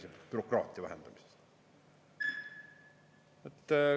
Kõneleme bürokraatia vähendamisest.